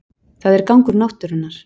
Það er gangur náttúrunnar